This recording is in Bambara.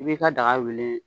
I b'i ka daga wili.